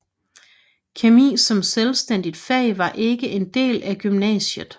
Kemi som selvstændigt fag var ikke en del af gymnasiet